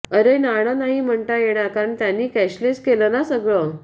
अरे नाणं नाही म्हणता येणार कारण त्यांनी कॅशलेस केलं ना सगळं